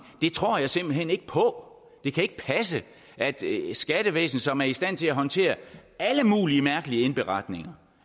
det tror jeg simpelt hen ikke på det kan ikke passe at skattevæsenet som er i stand til at håndtere alle mulige mærkelige indberetninger